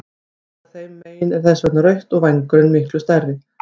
Augað þeim megin er þess vegna rautt og vængurinn miklu stærri.